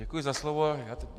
Děkuji za slovo.